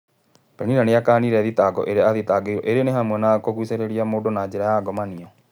Penina nĩakanire thitango iria athitangĩirwo iria nĩ hamwe na kũgũcĩrĩria mũndũ na njĩra ya ngomanio.